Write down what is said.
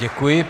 Děkuji.